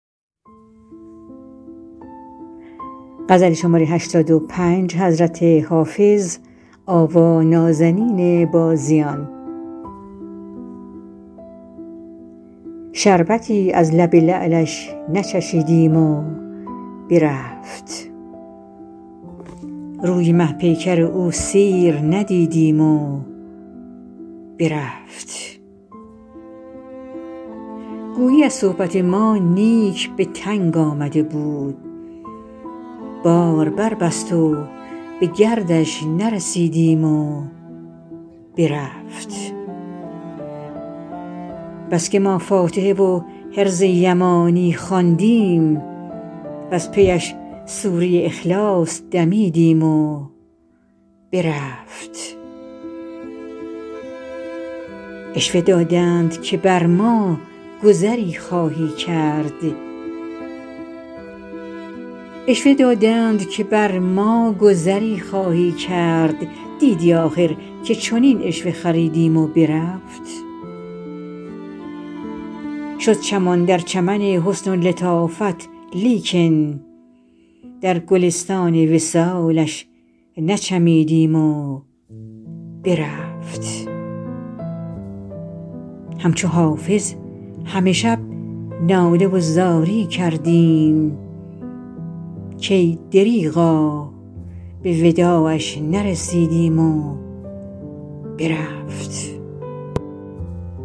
شربتی از لب لعلش نچشیدیم و برفت روی مه پیکر او سیر ندیدیم و برفت گویی از صحبت ما نیک به تنگ آمده بود بار بربست و به گردش نرسیدیم و برفت بس که ما فاتحه و حرز یمانی خواندیم وز پی اش سوره اخلاص دمیدیم و برفت عشوه دادند که بر ما گذری خواهی کرد دیدی آخر که چنین عشوه خریدیم و برفت شد چمان در چمن حسن و لطافت لیکن در گلستان وصالش نچمیدیم و برفت همچو حافظ همه شب ناله و زاری کردیم کای دریغا به وداعش نرسیدیم و برفت